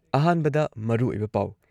ꯑꯍꯥꯟꯕꯗ ꯃꯔꯨꯑꯣꯏꯕ ꯄꯥꯎ